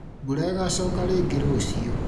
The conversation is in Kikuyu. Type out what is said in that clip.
Mbura ĩgacoka rĩngĩ rũciũ